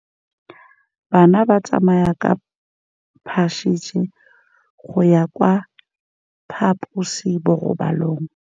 Bana ba tsamaya ka phašitshe go ya kwa phaposiborobalong.